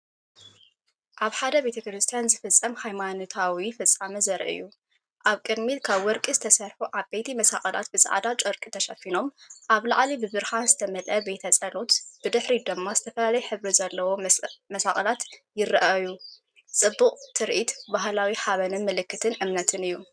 ኣብ ሓደ ቤተ ክርስቲያን ዝፍጸም ሃይማኖታዊ ፍጻመ ዘርኢ እዩ። ኣብ ቅድሚት ካብ ወርቂ ዝተሰርሑ ዓበይቲ መስቀላት ብጻዕዳ ጨርቂ ተሸፊኖም፤ ኣብ ላዕሊ ብብርሃን ዝተመልአ ቤተፀሎትን ብድሕሪት ድማ ዝተፈላለየ ሕብሪ ዘለዎም መስቀላት ይረኣዩጽቡቕ ትርኢት ባህላዊ ሓበንን ምልክት እምነትን እዩ።